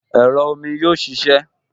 Ẹ̀rọ omi yóò ṣiṣẹ́